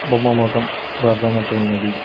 బొమ్మ మొకం బ్లర్ అయినట్టు ఉన్నది.